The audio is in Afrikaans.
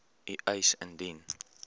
u eis indien